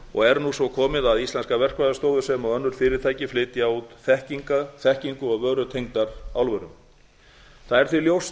og er nú svo komið að íslenska verkfræðistofur sem og önnur fyrirtæki flytja út þekkingu og vörutengdar álverum það er því ljóst